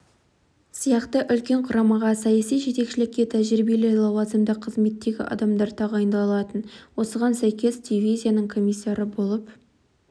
сияқты үлкен құрамаға саяси жетекшілікке тәжірибелі лауазымды қызметтегі адамдар тағайындалатын осыған сәйкес дивизияның комиссары болып